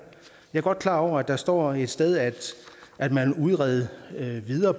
jeg er godt klar over at der står et sted at man vil udrede det videre